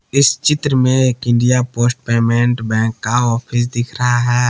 इस चित्र में एक इंडिया पोस्ट पेमेंट बैंक का ऑफिस दिख रहा है।